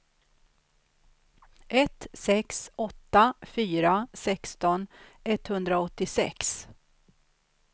ett sex åtta fyra sexton etthundraåttiosex